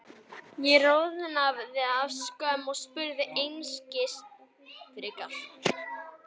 Ég roðnaði af skömm og spurði einskis frekar.